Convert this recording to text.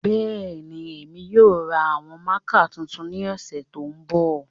Bẹẹni, Emi yoo ra awọn mạạka tuntun ni ọsẹ to nbọ.